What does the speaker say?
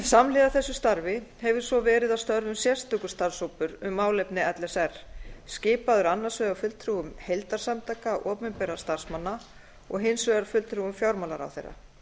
samhliða þessu starfi hefur svo verið að störfum sérstakur starfshópur um málefni l s r skipaður annars vegar fulltrúum heildarsamtaka opinberra starfsmanna og hins vegar fulltrúum fjármálaráðherra